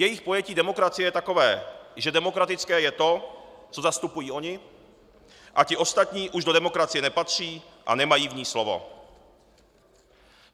Jejich pojetí demokracie je takové, že demokratické je to, co zastupují oni, a ti ostatní už do demokracie nepatří a nemají v ní slovo.